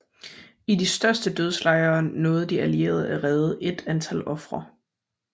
I de største dødslejre nåede de allierede at redde et antal ofre